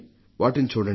వాటిని చూడండి